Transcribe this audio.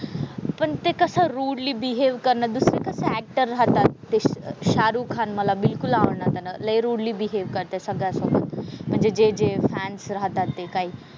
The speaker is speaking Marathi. पण ते कसं रुडली बिहेव करणं, दुसरी कसं ऍक्टर राहतात ते शाहरुख खान मला बिलकुल आवडत नाही. त्यानं लय रुडली बिहेव करते सगळ्यासोबत. म्हणजे जे जे फॅन्स राहतात ते काही.